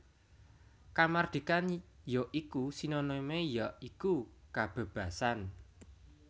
Kamardikan ya iku Sinonime ya iku kabebasan